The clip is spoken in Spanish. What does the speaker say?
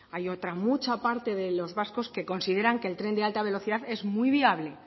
hay otra mucha parte de los vascos que consideran que el tren de alta velocidad es muy viable